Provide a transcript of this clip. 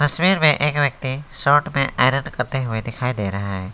तस्वीर में एक व्यक्ति शर्ट पे आयरन करते हुए दिखाई दे रहे हैं।